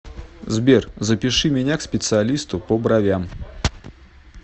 сбер запиши меня к специалисту по бровям